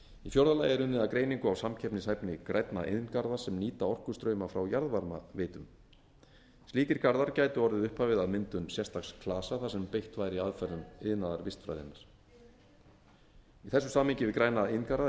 í fjórða lagi er unnið að greiningu á samkeppnishæfni grænna iðngarða sem nýta orkustrauma frá jarðvarmaveitum slíkir garðar gætu orðið upphafið að myndun sérstaks klasa þar sem beitt væri aðferðum iðnaðarvistfræðinnar í þessu samhengi við græna iðngarða